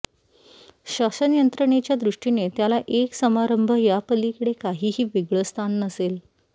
शासनयंत्रणेच्या दृष्टीने त्याला एक समारंभ यापलीकडे काहीही वेगळं स्थान नसेल